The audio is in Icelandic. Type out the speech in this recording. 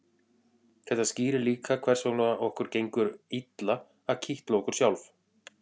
þetta skýrir líka hvers vegna okkur gengur illa að kitla okkur sjálf